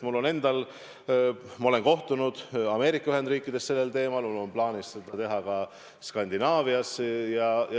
Mul on olnud kohtumisi Ameerika Ühendriikides sellel teemal, mul on plaanis neid teha ka Skandinaavias.